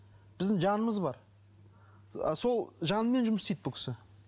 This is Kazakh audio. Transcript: біздің жанымыз бар ы сол жанымен жұмыс істейді бұл кісі